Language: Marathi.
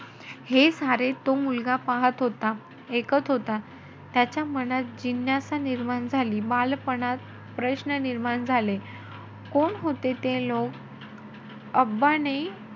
हे सारे तो मुलगा पाहत होता. ऐकत होता. त्याच्या मनात जिज्ञासा निर्माण झाली. बालपणात प्रश्न निर्माण झाले, कोण होते ते लोक? ने,